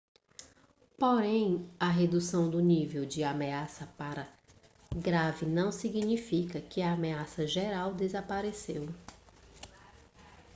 porém a redução do nível de ameaça para grave não significa que a ameaça geral desapareceu